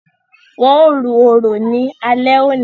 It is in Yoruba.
Wọn o ru orò ní alé òní